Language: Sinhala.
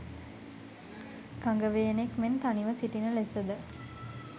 කඟවේනෙක් මෙන් තනිව සිටින ලෙසද